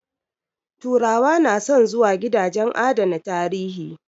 Turawa na son zuwa gidajen adana tarihi